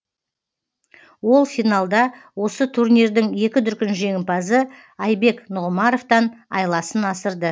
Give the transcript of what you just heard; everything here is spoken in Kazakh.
ол финалда осы турнирдің екі дүркін жеңімпазы айбек нұғымаровтан айласын асырды